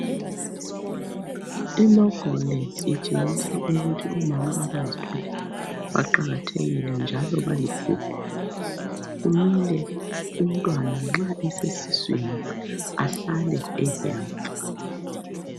Ilogo le itshengisa ukuthi omama abazithweleyo baqakathekile njalo baligugu .Kumele umntwana nxa esesiswini ahlale ehelitsi.